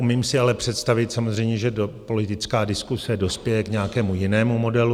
Umím si ale představit samozřejmě, že politická diskuse dospěje k nějakému jinému modelu.